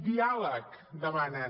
diàleg demanen